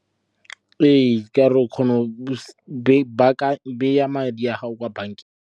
Ee, ka gore o kgona go baya madi a gago kwa bankeng.